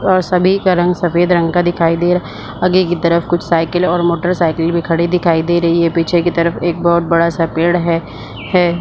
अ सभी का रंग सफ़ेद रंग का दिखाई दे रहा आगे की तरफ कुछ साइकिल और मोटरसाइकिल भी खड़े दिखाई दे रही है पीछे की तरफ एक बहुत बड़ा सा पेड़ है है।